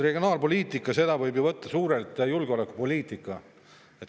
Regionaalpoliitikat võib ju suuresti võtta ka kui julgeolekupoliitikat.